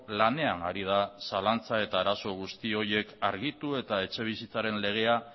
lanean ari da zalantza eta arazo guzti horiek argitu eta etxebizitzaren legea